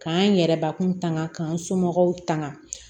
K'an yɛrɛbakun tanga k'an somɔgɔw tangan